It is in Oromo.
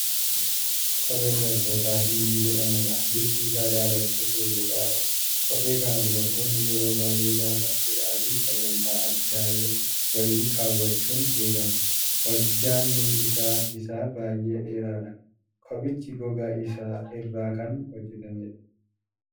Kophee dubartootaa 'Hiilii' jedhamudha. Bifti isaa daalacha cululuqaadha. Kophee kana dubartoonni yeroo baay'ee gaafa cidhaafii sagantaa addaa wayii kaawwachuun beekamu. Ejjanni isaa isaa baay'ee dheeraadha. Kophichi gogaa irraa kan hojjatameedha.